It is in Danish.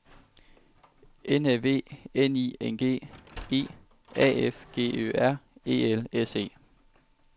N Æ V N I N G E A F G Ø R E L S E